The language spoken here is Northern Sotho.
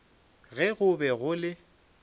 ge go be go le